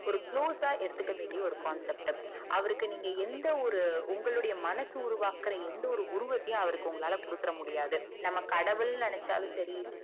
ஒரு glue எடுத்துக்கவேண்டிய concept அவருக்கு எந்த ஒரு உங்களுடைய மனசு உருவாக்குற எந்த ஒரு உருவத்தையும் அவர்க்கு குடுத்துர முடியாது நம்ம கடவுள் நெனச்சாலும் செரி